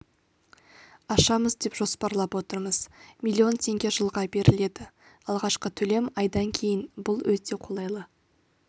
ашамыз деп жоспарлап отырмыз миллион теңге жылға беріледі алғашқы төлем айдан кейін бұл өте қолайлы